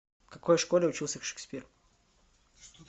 в какой школе учился шекспир